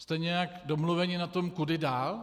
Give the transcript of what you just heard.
Jste nějak domluveni na tom, kudy dál?